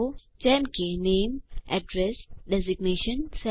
જેમ કે નામે એડ્રેસ ડેઝિગ્નેશન સેલેરી